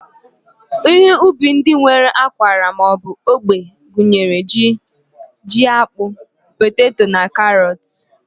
Ihe ubi ndị nwere ákwarà ma ọ bụ ógbè gụnyere ji, jiakpụ, poteto na karọọt.